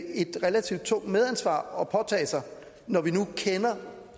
ikke et relativt tungt medansvar at påtage sig når vi nu kender